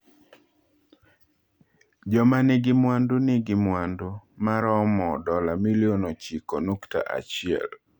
Joma nigi mwandu nigi mwandu ma romo dola milion ochiko nukta achiel.